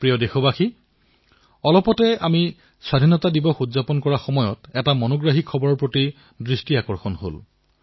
প্ৰিয় দেশবাসীসকল কেইদিনমান পূৰ্বে যেতিয়া আমি আমাৰ স্বাধীনতা দিৱস পালন কৰি আছিলো তেতিয়া এক অতিশয় আমোদজক ঘটনালৈ মোৰ চকু গৈছিল